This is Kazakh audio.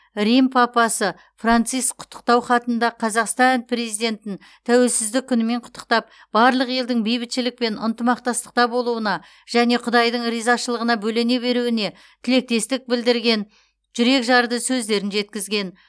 рим папасы франциск құттықтау хатында қазақстан президентін тәуелсіздік күнімен құттықтап барлық елдің бейбітшілік пен ынтымақтастықта болуына және құдайдың ризашылығына бөлене беруіне тілектестік білдірген жүрекжарды сөздерін жеткізген